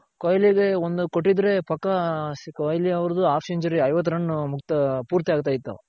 ಕೊಹ್ಲಿ ಗೆ ಒಂದು ಕೊಟ್ಟಿದ್ರೆ ಪಕ್ಕ ಕೊಹ್ಲಿ ಅವರ್ದು half century ಐ ವತ್ತ್ run ಪೂರ್ತಿ ಆಗ್ತಾ ಇತ್ತು